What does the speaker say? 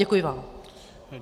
Děkuji vám.